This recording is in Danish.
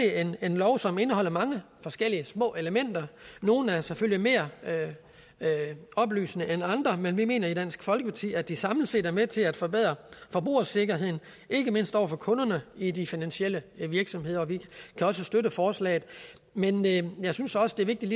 en lov som indeholder mange forskellige små elementer nogle er selvfølgelig mere oplysende end andre men vi mener i dansk folkeparti at det samlet set er med til at forbedre forbrugersikkerheden ikke mindst over for kunderne i de finansielle virksomheder vi kan også støtte forslaget men jeg synes også det er vigtigt